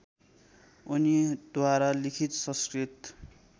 उनीद्वारा लिखित संस्कृत